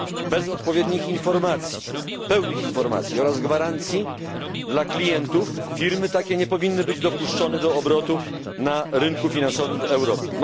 Bez odpowiednich informacji, pełnych informacji, oraz gwarancji dla klientów firmy takie nie powinny być dopuszczone do obrotu na ryku finansowym w Europie.